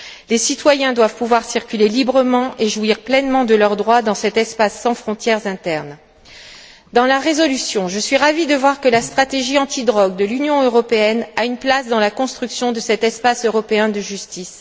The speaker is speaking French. Les citoyens doivent pouvoir circuler librement et jouir pleinement de leurs droits dans cet espace sans frontières internes. Je suis ravie de voir que, dans la résolution, la stratégie anti drogue de l'Union européenne a une place dans la construction de cet espace européen de justice.